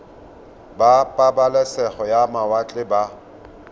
ba pabalesego ya mawatle ba